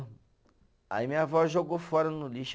Aí minha avó jogou fora no lixo.